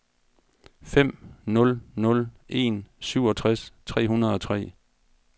fem nul nul en syvogtres tre hundrede og tre